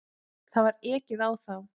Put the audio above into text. Það var ekið á þá.